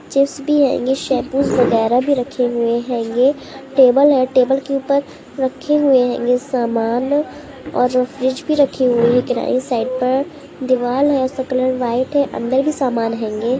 Chips भी हेंगे shampoos वगैरा भी रखे हुए हेंगे। टेबल है टेबल के ऊपर रखे हुए हेंगे सामान और फ्रिज भी रखे हुए हैं किनारे साइड पर दीवाल है उसका कलर व्हाइट है। अंदर भी सामान हेंगे।